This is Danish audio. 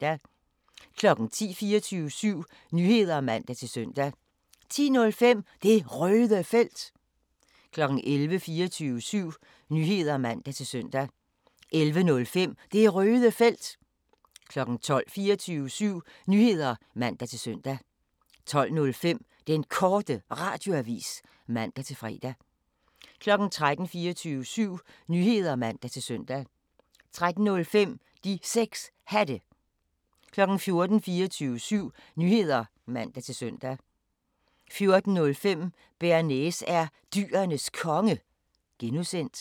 10:00: 24syv Nyheder (man-søn) 10:05: Det Røde Felt 11:00: 24syv Nyheder (man-søn) 11:05: Det Røde Felt 12:00: 24syv Nyheder (man-søn) 12:05: Den Korte Radioavis (man-fre) 13:00: 24syv Nyheder (man-søn) 13:05: De 6 Hatte 14:00: 24syv Nyheder (man-søn) 14:05: Bearnaise er Dyrenes Konge (G)